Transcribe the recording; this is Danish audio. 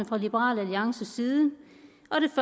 fra liberal alliances side